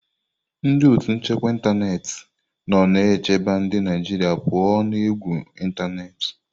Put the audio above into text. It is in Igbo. Ndị otu nchekwa ịntanetị nọ na-echebe ndị Naijiria pụọ ​​na égwù ịntanetị.